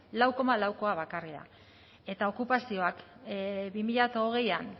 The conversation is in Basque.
lau koma laukoa bakarrik da eta okupazioak bi mila hogeian